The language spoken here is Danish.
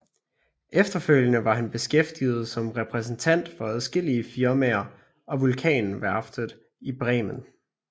Efterfølgende var han beskæftiget som repræsentant for adskillige firmaer og Vulkanværftet i Bremen